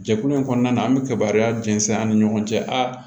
Jɛkulu in kɔnɔna na an bɛ kibaruya jɛnsɛn an ni ɲɔgɔn cɛ aa